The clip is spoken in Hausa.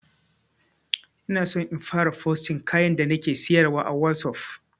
Inaso in fara fosting kayan da nake siyarwa a wazof